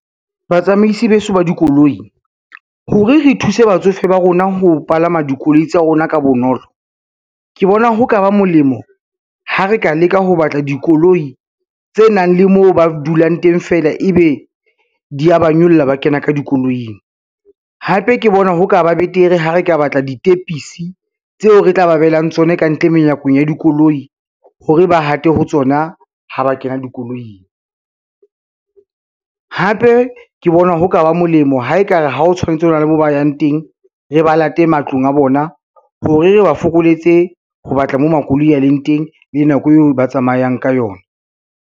Batsamaisi beso ba dikoloi hore re thuse batsofe ba rona ho palama dikoloi tsa rona ka bonolo, ke bona ho ka ba molemo ha re ka leka ho batla dikoloi tse nang le moo ba dulang teng fela, e be di ya ba nyolla, ba kena ka dikoloing. Hape ke bona ho ka ba betere ha re ka batla ditepisi tseo re tla ba behelang tsona kantle menyako ya dikoloi hore ba hate ho tsona ha ba kena dikoloing, hape ke bona ho ka ba molemo ha e ka re ha o tshwanetse ho na le mo ba yang teng, re ba late matlong a bona hore re ba fokoletse ho batla mo makoloi a leng teng le nako eo ba tsamayang ka yona.